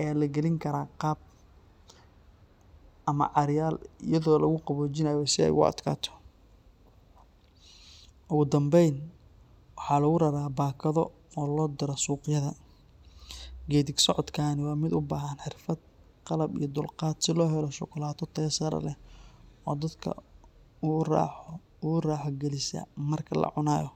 ayaa la gelin karaa qaab ama caaryaal iyadoo lagu qaboojinayo si ay u adkaato. Ugu dambayn, waxaa lagu raraa baakado oo loo diro suuqyada. Geeddi-socodkani waa mid u baahan xirfad, qalab iyo dulqaad si loo helo shukulaato tayo sare leh oo dadka u raaxo gelisa marka la cunayo.